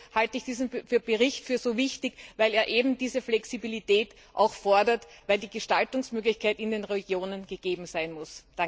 Deshalb halte ich diesen Bericht für so wichtig, weil er eben diese Flexibilität auch fordert, weil die Gestaltungsmöglichkeit in den Regionen gegeben sein muss.